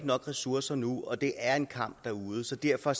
nok ressourcer nu og at det er en kamp derude så derfor